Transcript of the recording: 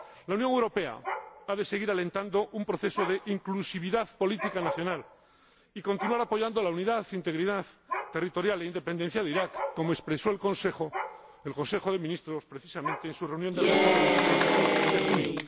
La Unión Europea ha de seguir alentando un proceso de inclusividad política nacional y continuar apoyando la unidad, integridad territorial e independencia de Irak, como expresó el Consejo de Ministros precisamente en su reunión del pasado 23 de junio.